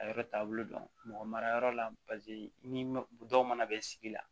A yɔrɔ taabolo dɔn mɔgɔ marayɔrɔ la paseke ni dɔw mana bɛn sigi la